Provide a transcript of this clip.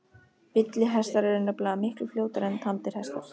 Villihestar eru nefnilega miklu fljótari en tamdir hestar.